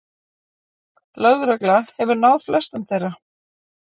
Lögregla hefur náð flestum þeirra